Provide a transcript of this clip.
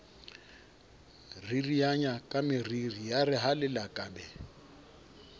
ririanya kameriri yare ha lelakabe